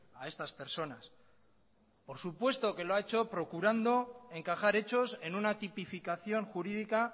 a estas personas por supuesto que lo ha hecho procurando encajar hechos en una tipificación jurídica